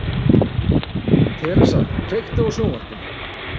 Theresa, kveiktu á sjónvarpinu.